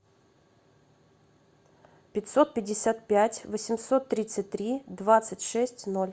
пятьсот пятьдесят пять восемьсот тридцать три двадцать шесть ноль